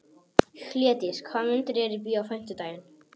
Hlédís, hvaða myndir eru í bíó á fimmtudaginn?